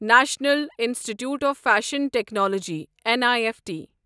national institute of fashion technology N I F T